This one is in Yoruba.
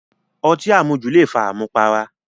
Ọtí àmujù le fa àmùpara